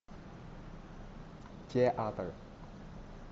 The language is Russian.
театр